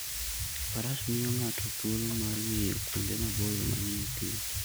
Faras miyo ng'ato thuolo mar ng'iyo kuonde maboyo manie thim.